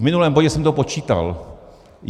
V minulém bodě jsem to počítal.